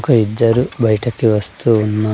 ఒక ఇద్దరు బయటికి వస్తున్నా--